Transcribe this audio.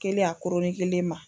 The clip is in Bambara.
Kɛli a kelen ma.